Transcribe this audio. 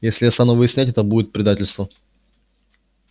если я стану выяснять это будет предательство